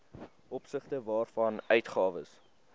opsigte waarvan uitgawes